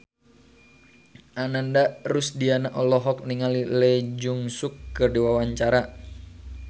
Ananda Rusdiana olohok ningali Lee Jeong Suk keur diwawancara